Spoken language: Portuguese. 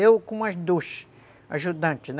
Eu com mais dois ajudantes, né?